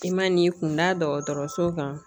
I man'i kun da dɔgɔtɔrɔso kan